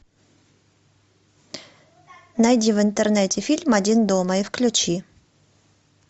найди в интернете фильм один дома и включи